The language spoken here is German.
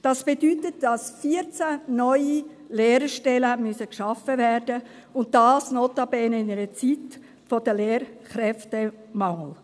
Das bedeutet, dass 14 neue Lehrerstellen geschaffen werden müssen, und dies notabene in einer Zeit des Lehrkräftemangels.